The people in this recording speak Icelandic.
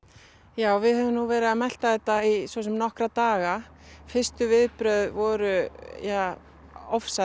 já við höfum nú verið að melta þetta í svo sem nokkra daga fyrstu viðbrögð voru ja